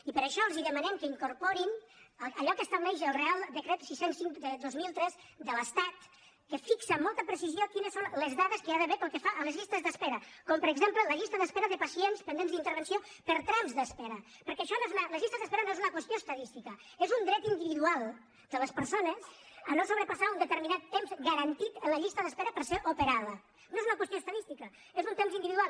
i per això els demanem que incorporin allò que estableix el reial decret sis cents i cinc dos mil tres de l’estat que fixa amb molta precisió quines són les dades que hi ha d’haver pel que fa a les llistes d’espera com per exemple la llista d’espera de pacient pendents d’intervenció per trams d’espera perquè les llistes d’espera no és una qüestió estadística és un dret individual de les persones a no sobrepassar un determinat temps garantit a la llista d’espera per ser operades no és una qüestió estadística és un temps individual